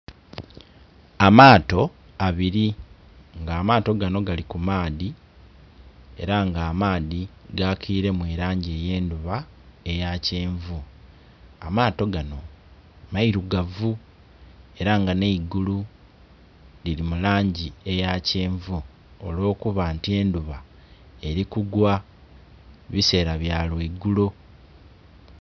Amaato abiri nga amaato ganho gali ku maadhi era nga amaadhi gakilemu elangi eyendhuba eya kyenvu amaato ganho meirugavu era nga nhe'igulu lili mu langi eya kyenvu olwo kuba nti endhuba eri kugwa bisela bya lweigulo.